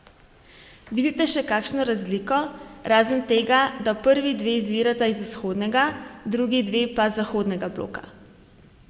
Vidite še kakšno razliko, razen tega, da prvi dve izvirata iz vzhodnega, drugi dve pa zahodnega bloka?